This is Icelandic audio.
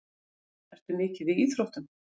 Ertu mikið í íþróttum?